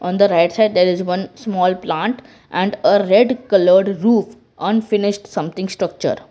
on the right side there is one small plant and a red colour roof unfinished something structure.